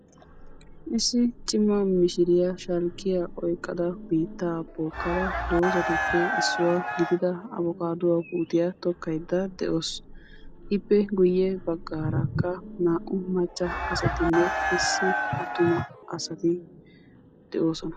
Issi cimaa mishiriyaa shalkkuyaa oykkada biitta bookkada doozatuppe issuwa gidia abkaadduwa puutiya tokkaydda de'awus. Ippe guyye baggaarakka naa"u macca asatinne issi attuma asati de'oosona.